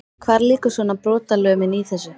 Hvar liggur svona brotalömin í þessu?